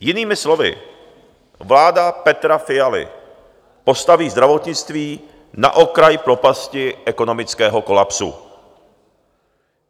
Jinými slovy, vláda Petra Fialy postaví zdravotnictví na okraj propasti ekonomického kolapsu.